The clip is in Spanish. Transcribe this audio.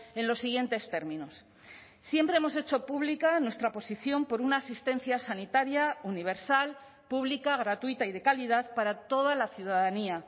en los siguientes términos siempre hemos hecho pública nuestra posición por una asistencia sanitaria universal pública gratuita y de calidad para toda la ciudadanía